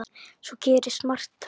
Svo gerist margt fleira.